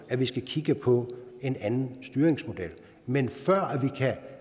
at vi skal kigge på en anden styringsmodel men før vi kan